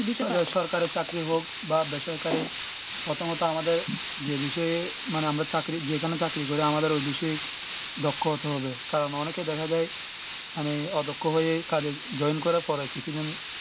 সরকারি চাকরি হোক বা বেসরকারি প্রথমত আমাদের যে বিষয়ে মানে আমরা চাকরি যেখানে চাকরি করে আমাদের বিশেখ দক্ষ হতে হবে কারণ অনে কে দেখা যায় মানে কাজে join করার পরে কিছুদিন